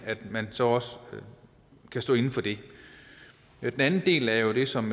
at man så også kan stå inde for det den anden del er jo det som